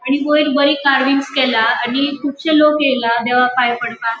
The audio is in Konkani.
आणि वयर बरी कार्विंग्स केला आणि कुबशे लोक येला देवाक पाया पडपाक.